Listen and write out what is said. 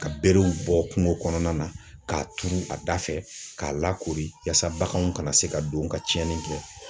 Ka berew bɔ kungo kɔnɔna na ,k'a turu a da fɛ k'a lakori ,yasa baganw kana se ka don ka tiɲɛni kɛ.